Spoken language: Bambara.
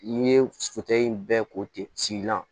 N'i ye foto in bɛɛ ko ten sigilan